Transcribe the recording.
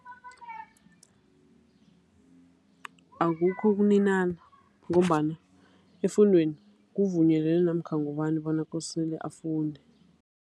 Akukho ukuninana ngombana efundweni kuvunyelwe namkha ngubani bona kosele afunde.